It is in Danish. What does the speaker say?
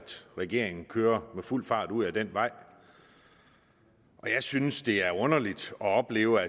regeringen kører med fuld fart ud ad den vej og jeg synes det er underligt at opleve